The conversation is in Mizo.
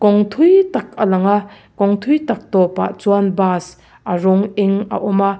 kawng thui tak a lang a kawng thui tak tawpah chuan bus a rawng eng a awm a.